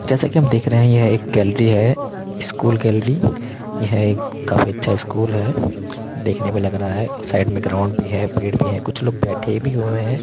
जैसा की हम देख रहें है यह एक गैलरी है स्कूल गैलरी है | यह एक काफी अच्छा स्कूल है देखने में लग रहा है | साइड में ग्राउंड भी है पेड भी है कुछ लोग बैठे भी हुएँ है ।